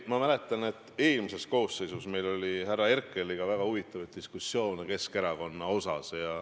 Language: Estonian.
Ma mäletan, et eelmises koosseisus oli meil härra Herkeliga väga huvitavaid diskussioone Keskerakonna üle.